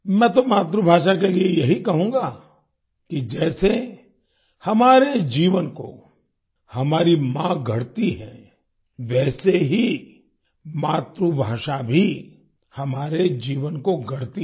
मैं तो मातृभाषा के लिए यही कहूँगा कि जैसे हमारे जीवन को हमारी माँ गढ़ती है वैसे ही मातृभाषा भी हमारे जीवन को गढ़ती है